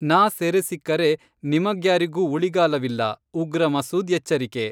ನಾ ಸೆರೆ ಸಿಕ್ಕರೆ..ನಿಮಗ್ಯಾರಿಗೂ ಉಳಿಗಾಲವಿಲ್ಲ:ಉಗ್ರ ಮಸೂದ್ ಎಚ್ಚರಿಕೆ.